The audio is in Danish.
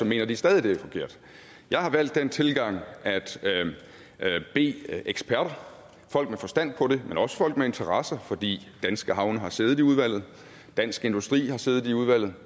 mener de stadig den er forkert jeg har valgt den tilgang at bede eksperter folk med forstand på det men også folk med interesse for de danske havne har siddet i udvalget og dansk industri har siddet i udvalget